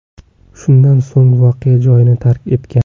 Shundan so‘ng voqea joyini tark etgan.